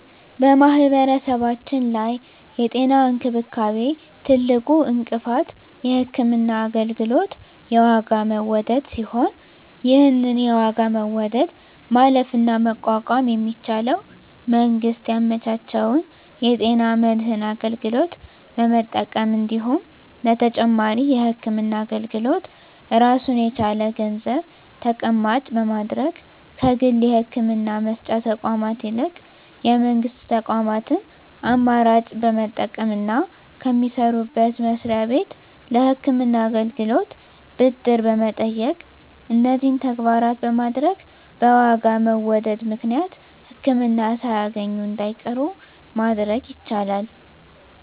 በማህበረሰባችን ላይ የጤና እንክብካቤ ትልቁ እንቅፋት የህክምና አገልግሎት የዋጋ መወደድ ሲሆን ይህን የዋጋ መወደድ ማለፍና መቋቋም የሚቻለው መንግስት ያመቻቸውን የጤና መድን አገልግሎት በመጠቀም እንዲሁም ለተጨማሪ የህክምና አገልግሎት ራሱን የቻለ ገንዘብ ተቀማጭ በማድረግ ከግል የህክምና መስጫ ተቋማት ይልቅ የመንግስት ተቋማትን አማራጭ በመጠቀምና ከሚሰሩበት መስሪያ ቤት ለህክምና አገልግሎት ብድር በመጠየቅ እነዚህን ተግባራት በማድረግ በዋጋ መወደድ ምክንያት ህክምና ሳያገኙ እንዳይቀሩ ማድረግ ይቻላል።